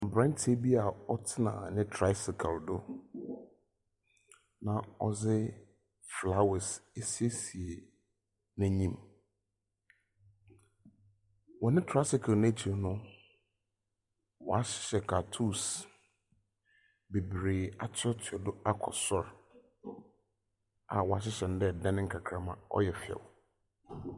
Mmranteɛ bi gyinagina hɔ a etuo sensɛn ebi ho. Ebi nso ɛhyɛ kyɛ. Ɔbaako kura aboa bi mu. Ebi nso egyina.